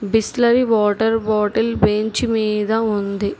Bisleri water bottle bench మీద ఉంది.